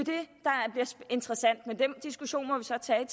interessant men den diskussion må vi så tage i